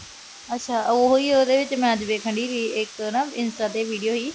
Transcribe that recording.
ਅੱਛਾ। ਉਹੀ ਉਹਦੇ ਵਿੱਚ ਮੈਂ ਵੇਖਣ ਡਈ ਸੀ ਇਕ ਨਾ ਇੰਸਟਾ ਤੇ video ਸੀ।